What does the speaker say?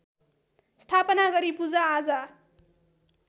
स्थापना गरी पूजाआजा